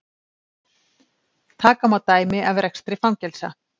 taka má dæmi af rekstri fangelsa